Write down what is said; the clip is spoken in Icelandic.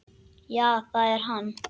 Já það er hann.